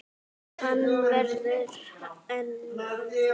En verður hann áfram?